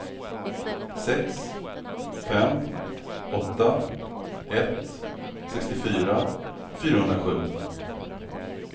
sex fem åtta ett sextiofyra fyrahundrasju